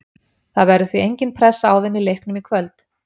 Það verður því engin pressa á þeim í leiknum í kvöld.